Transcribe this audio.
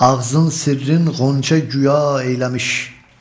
Ağzın sırrın xonça güya eyləmiş.